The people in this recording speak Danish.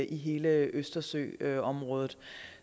i hele østersøområdet